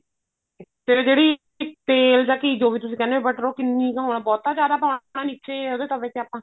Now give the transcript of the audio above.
ਤੇ ਜਿਹੜੀ ਤੇਲ ਜਾਂ ਘੀ ਜੋ ਵੀ ਤੁਸੀਂ ਕਹਿਣੇ ਉਹ ਮਤਲਬ ਕੀ ਉਹ ਕਿੰਨਾ ਕੁ ਬਹੁਤਾ ਜਿਆਦਾ ਪਾਉਣਾ ਨਿੱਚੇ ਤਵੇ ਤੇ ਆਪਾਂ